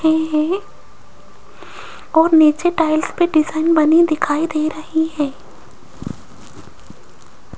कोई है और नीचे टाइल्स पे डिजाइन बनी दिखाई दे रही है।